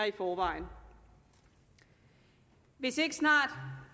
i forvejen hvis det ikke snart